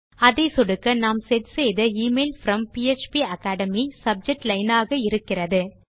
அதை சொடுக்க நாம் செட் செய்த எமெயில் ப்ரோம் பாப்பகேட்மி சப்ஜெக்ட் லைன் ஆக இருக்கிறது